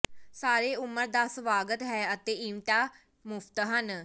ਸਾਰੇ ਉਮਰ ਦਾ ਸਵਾਗਤ ਹੈ ਅਤੇ ਇਵੈਂਟਾਂ ਮੁਫਤ ਹਨ